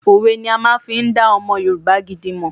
Òwe ni a máa n fi n dá ọmọ Yorùbá gidi mọ̀